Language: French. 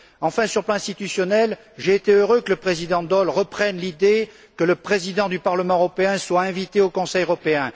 Enfin, sur le plan institutionnel, j'ai été heureux que le président Daul reprenne l'idée que le Président du Parlement européen soit invité au Conseil européen.